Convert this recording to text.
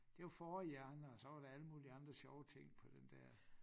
Det var fårehjerne og så var der alle mulige andre sjove ting på den dér